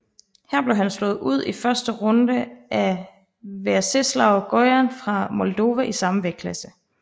Her blev han slået ud i første runde af Veaceslav Gojan fra Moldova i samme vægtklasse